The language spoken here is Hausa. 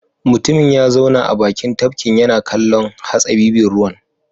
Mutumin ya zauna a bakin tafkin yana kallon hatsabibin ruwan.